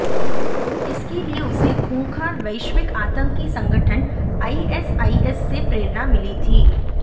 इसके लिए उसे खूंखार वैश्विक आतंकी संगठन आईएसआईएस से प्रेरणा मिली थी